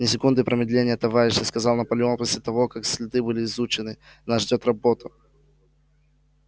ни секунды промедления товарищи сказал наполеон после того как следы были изучены нас ждёт работа